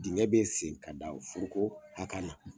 Digɛn bɛ seni ka da furuko haka na.